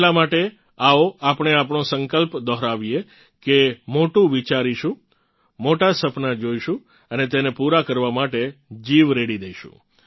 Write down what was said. એટલા માટે આવો આપણે આપણો સંકલ્પ દોહરાવીએ કે મોટું વિચારીશું મોટા સપના જોઇશું અને તેને પૂરા કરવા માટે જીવ રેડી દઇશું